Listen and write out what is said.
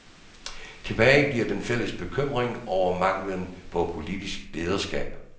Tilbage bliver den fælles bekymring over manglen på politisk lederskab.